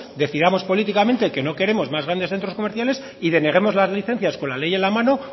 decidamos políticamente que no queremos más grandes centros comerciales y deneguemos las licencias con la ley en la mano